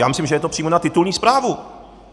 Já myslím, že je to přímo na titulní zprávu!